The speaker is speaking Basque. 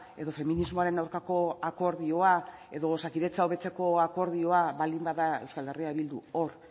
edo feminismoaren aurkako akordioa edo osakidetza hobetzeko akordioa baldin bada euskal herria bildu hor